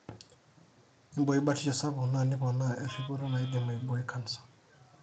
iboi batisho sapuk na nipoona eripoto naidim aiboi canser.